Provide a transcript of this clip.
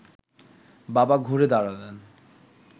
বাবা ঘুরে দাঁড়ালেন